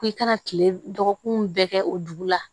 Ko i kana kile dɔgɔkun bɛɛ kɛ o dugu la